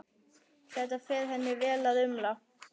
Það fer henni vel að umla.